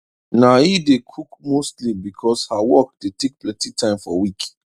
na he dey cook mostly because her work dey take plenty time for week